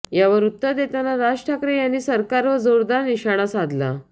यावर उत्तर देताना राज ठाकरे यांनी सरकारवर जोरदार निशाणा साधला